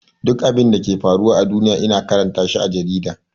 Duk abinda yake faruwa a duniya ina karanta shi a jarida.